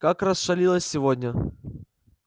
как расшалилась сегодня